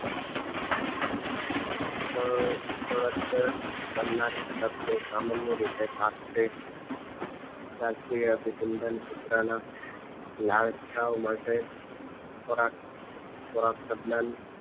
પ પરત કરનાર સામાન્ય રીતે શાસ્ત્રીય શાસ્ત્રીય અભિસંધાન ના લાલચા માટે ખોરાક દરમિયાન